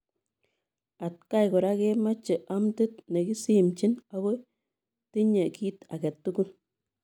Atakaan koraa komechee amdiit nekisimchiin ago tinyei kiit age tugul.